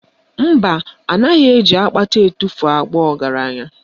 Mba, anaghị eji akpata etufuo abụ ọgaranya